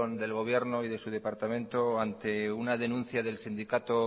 del gobierno y de su departamento ante una denuncia del sindicato